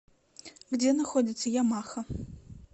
где находится ямаха